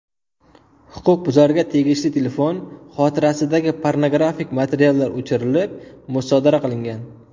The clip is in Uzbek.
Huquqbuzarga tegishli telefon xotirasidagi pornografik materiallar o‘chirilib, musodara qilingan.